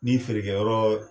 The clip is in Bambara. Ni feerekɛyɔrɔ